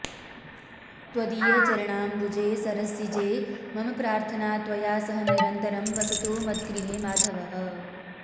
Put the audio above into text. त्वदीयचरणाम्बुजे सरसिजे मम प्रार्थना त्वया सह निरन्तरं वसतु मद्गृहे माधवः